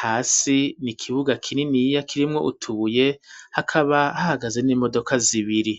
hasi n'ikibuga kininiya kirimwo utubuye hakaba hahagaze n'imodoka zibiri